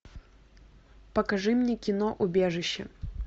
покажи мне кино убежище